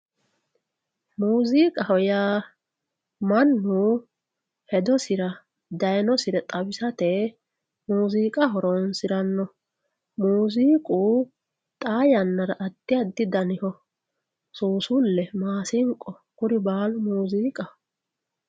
muziiqaho yaa mannu hedosira daynore xawisate muziiqa horonsiranno moziiqu xaa yannara addi addi daniho suusulle maasinqo kuri baalu mooziiqaho